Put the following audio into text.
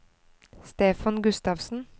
Stefan Gustavsen